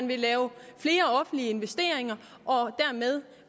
vil lave flere offentlige investeringer og dermed